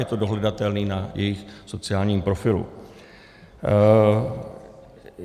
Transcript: Je to dohledatelné na jejich sociálním profilu.